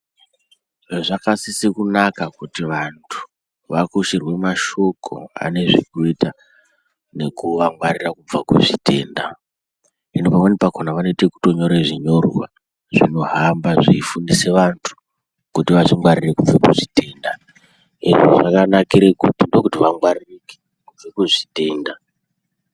Zvakasise kunaka kuti vantu vakushirwe mashoko anezvekuita nekuvangwarira kubva kuzvitenda, hino pamweni pakona vanoite ekutonyore zvinyorwa zvinohamba zveifundise antu kuti vazvingwarire kubve kuzvitenda izvi zvakanakire kuti ndokuti vangwaririke kubve kuzvitenda.